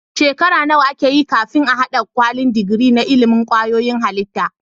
Shekara nawa akeyi kafin a hada kwalin digiri na ilimin kwayoyin halitta